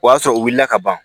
O y'a sɔrɔ u wulila ka ban